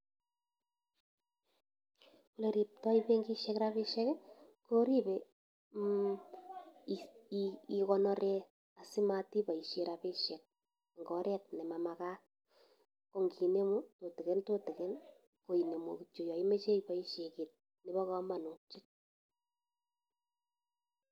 Ole ribtoi benkishek rabisiek, koribe igonore asimat iboisie rabisiek eng oret ne mamagat. Ko nginemu tutigin tutigin, ko inemu kityo yo imache iboisie kiy nebo kamanut.